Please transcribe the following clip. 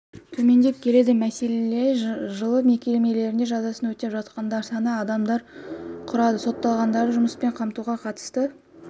төмендеп келеді мәселен жылы мекемелерінде жазасын өтеп жатқандар саны адамды құрады сотталғандарды жұмыспен қамтуға қатысты